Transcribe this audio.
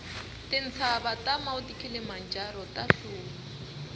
tintsava ta mount kilimanjaro tahluma